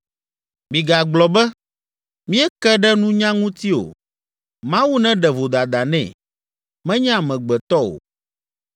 Migagblɔ be, ‘Míeke ɖe nunya ŋuti o, Mawu neɖe vodada nɛ, menye amegbetɔ o.’